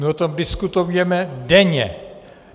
My o tom diskutujeme denně.